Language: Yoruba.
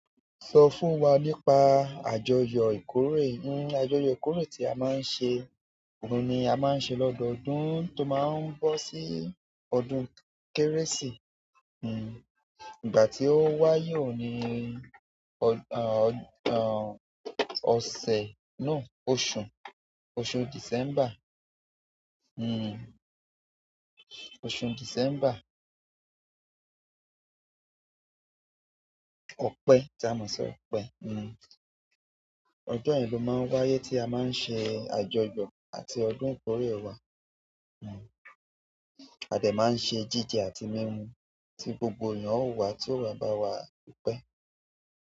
Sọ fún wa nípa àjọyọ̀ ìkórè. Àjọyọ̀ ìkórè tí a máa ń ṣe, òun ni a máa ń ṣe lọ́dọọdún tó máa ń bọ́ sí ọdún Kérésì. Ìgbà tí ó wáyé òun ní ọ̀sẹ̀, no oṣù, oṣù December. Hmm. Oṣù December. Ọpẹ́ tí a mọ̀ sí ọpẹ́. Ọjọ́ yẹn ló máa ń wáyé tí a máa ń ṣe àjọyọ̀ àti ọdún ìkórè wa. A dẹ̀ máa ń ṣe jíjẹ àti mímu tí gbogbo èèyàn ó wá tí óò wá bá wá dúpẹ́.